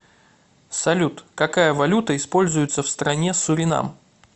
салют какая валюта используется в стране суринам